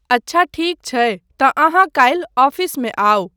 अच्छा ठीक छै तँ अहाँ काल्हि ऑफिसमे आउ।